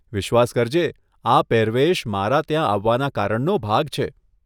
વિશ્વાસ કરજે, આ પહેરવેશ મારા ત્યાં આવવાના કારણનો ભાગ છે.